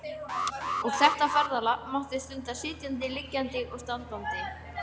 Og þetta ferðalag mátti stunda sitjandi, liggjandi og standandi